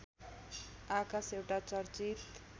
आकाश एउटा चर्चित